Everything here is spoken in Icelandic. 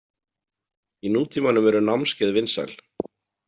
Í nútímanum eru námskeið vinsæl.